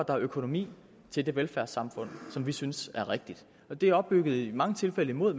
er økonomi til det velfærdssamfund som vi synes er rigtigt det er opbygget i mange tilfælde imod